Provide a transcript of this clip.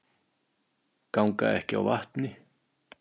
Ganga ekki á vatni